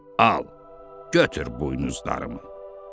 Al, götür buynuzlarımı.